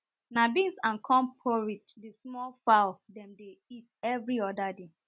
na beans and corn porride the small fowl dem dey eat every oda day